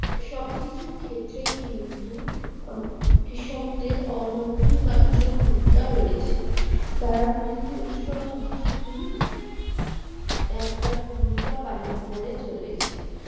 সবকিছুর ক্ষেত্রেই কিন্তু আহ কৃষকদের অনধিকার্য ভূমিকা রয়েছে তারা কিন্তু এইসব কিছুতেই একটা ভূমিকা পালন করে চলেছে